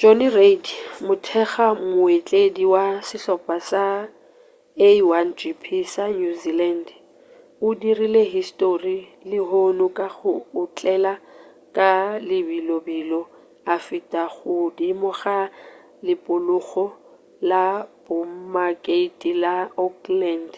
jonny reid mothekga-mootledi wa sehlopha sa a1gp sa new zealand o dirile histori lehono ka go otlela ka lebelobelo a feta godimo ga leporogo la boemakepe la auckland